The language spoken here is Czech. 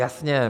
Jasně.